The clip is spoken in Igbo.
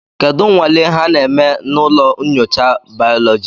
Kedu nnwale ha na-eme na ụlọ nyocha baoloji?